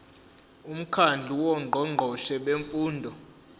umkhandlu wongqongqoshe bemfundo